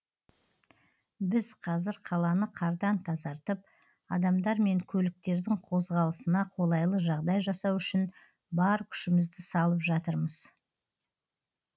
біз қазір қаланы қардан тазартып адамдар мен көліктердің қозғалысына қолайлы жағдай жасау үшін бар күшімізді салып жатырмыз